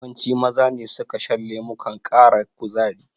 Yawanci Maza ne suka shan lemukan ƙara kuzari.